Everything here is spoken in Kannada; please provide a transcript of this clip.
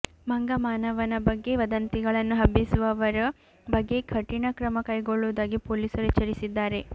ಮಂಗ ಮಾನವನ ಬಗ್ಗೆ ವದಂತಿಗಳನ್ನು ಹಬ್ಬಿಸುವವರ ಬಗ್ಗೆ ಕಠಿಣ ಕ್ರಮ ಕೈಗೊಳ್ಳುವುದಾಗಿ ಪೊಲೀಸರು ಎಚ್ಚರಿಸಿದ್ದಾರೆ